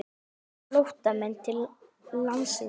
Kólumbískir flóttamenn til landsins